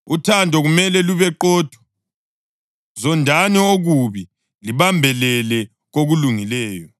Uthando kumele lube qotho. Zondani okubi libambelele kokulungileyo.